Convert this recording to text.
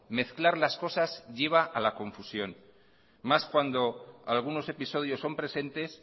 mezclar las cosas lleva a la confusión más cuando algunos episodios son presentes